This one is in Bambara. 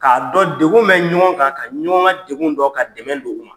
K'a dɔn degun bɛ ɲɔgɔn kan ka ɲɔgɔn ka degun dɔn ka dɛmɛ don